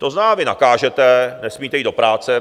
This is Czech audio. To znamená, vy nakážete: nesmíte jít do práce.